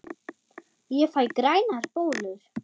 Ég fæ grænar bólur!